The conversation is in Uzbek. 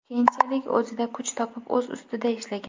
Keyinchalik o‘zida kuch topib, o‘z ustida ishlagan.